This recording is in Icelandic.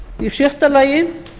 í sjötta lagi